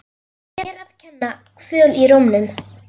Mér að kenna- Kvöl í rómnum.